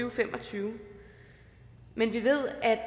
og fem og tyve men vi ved at